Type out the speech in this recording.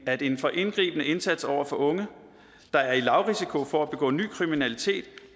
at en for indgribende indsats over for unge der er i lavrisiko for at begå ny kriminalitet